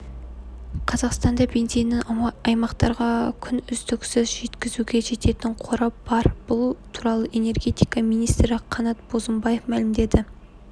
қазақстанда бензинінің аймақтарға күн үздіксіз жеткізуге жететін қоры бар бұл туралы энергетика министрі қанат бозымбаев мәлімдеді